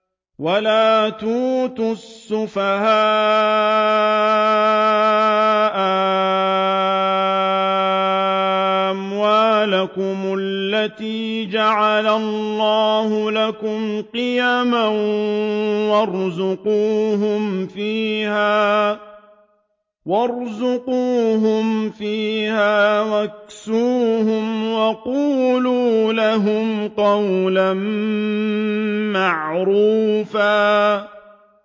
وَلَا تُؤْتُوا السُّفَهَاءَ أَمْوَالَكُمُ الَّتِي جَعَلَ اللَّهُ لَكُمْ قِيَامًا وَارْزُقُوهُمْ فِيهَا وَاكْسُوهُمْ وَقُولُوا لَهُمْ قَوْلًا مَّعْرُوفًا